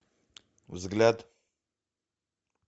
взгляд